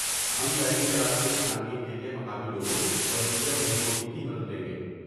ہم ٹریکنگ کے راستوں کی چھان بین کے لیے مقامی لوگوں اور دیگر محکموں کی مدد بھی لیں گے۔